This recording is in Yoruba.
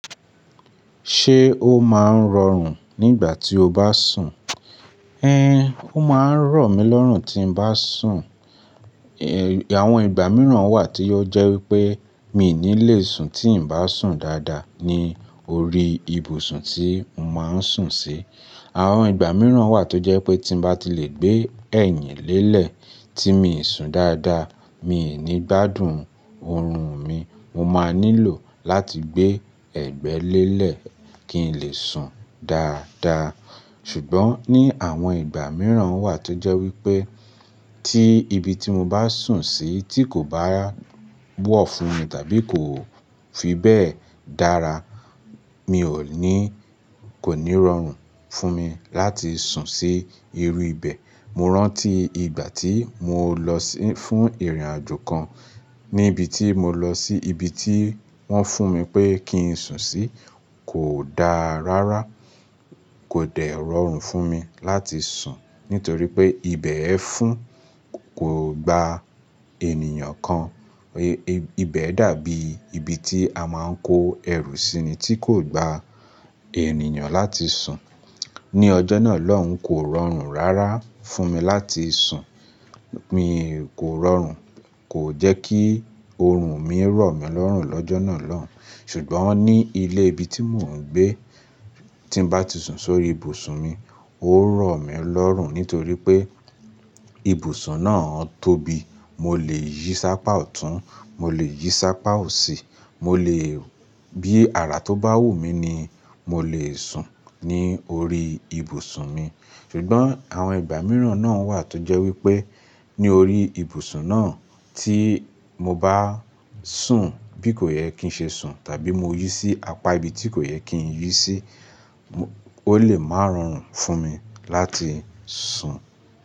Ṣé ó máa ń rọrùn nígbà tí o bá sùn? Ẹn, ó máa ń rọ̀ mi lọ́rùn tí n bá sùn. Àwọn ìgbà mìíràn wà tí ó jẹ́ wípé mi ò ní le sùn tí n bá sùn dáadáa ní orí ibùsùn tí mo máa ń sùn sí. Àwọn ìgbà mìíràn wà tó jẹ́ pé tí mo bá ti le gbé ẹ̀yìn lélẹ̀ tí mii sùn dáadáa, mi ò ní gbádùn oorun mi. Mo máa nílò láti gbé ẹ̀gbẹ́ lélẹ̀ kí n lè sùn dáadáa. Ṣùgbọ́n ní àwọn ìgbà mìíràn wà tó jẹ́ wípé tí ibi tí mo bá sùn sí tí kò bá wọ́ fún mi tàbí kò fi bẹ́ẹ̀ dára, mi ò ní, kò ní rọrùn fún mi láti sùn sí irú ibẹ̀. Mo rántí ìgbà tí mo lọ sí fún ìrìnàjò kan ní ibi tí mo lọ sí ibi tí wọ́n fún mi pé kí n sùn sí kò dáa rárá, kò dẹ̀ rọrùn fún mi láti sùn nítorí pé ibẹ̀ ẹ́ fún kò gba ènìyàn kan. Ibẹ dàbí ibi tí a máa ń kó ẹrù sí ni tí kò gba ènìyàn láti sùn. Ni ọjọ́ náà lọhun kò rọrùn rárá fún mi láti sùn. Mi kò rọrùn, kò jẹ́ kí oorun mi rọ̀ mi lọ́rùn lọ́jọ́ náà lọ́un. Ṣùgbọ́n ní ilé ibi tí mò ń gbé tí n bá ti sùn sórí ibùsùn mi, ó rọ̀ mí lọ́rùn nítorí pé ibùsùn náà tóbi. Mo lè yí sápá ọ̀tún, mo lè yí sápá òsì, mo lè bí ara tó bá wù mí ni mo lè sùn ní orí ibùsùn mi. Ṣùgbọ́n àwọn ìgbà mìíràn náà wà tó jẹ́ wípé ní orí ibùsùn náà tí mo bá sùn bí kò yẹ kí ń ṣe sùn tàbí mo yí sí apá ibi tí kò yẹ kí n yí sí, ó lè máa rọrùn fún mi láti sùn.